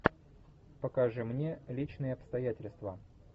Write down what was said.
покажи мне личные обстоятельства